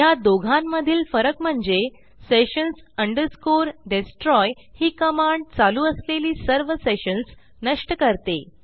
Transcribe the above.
ह्या दोहोंमधील फरक म्हणजे sessions destroy ही कमांड चालू असलेली सर्व सेशन्स नष्ट करते